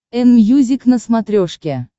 энмьюзик на смотрешке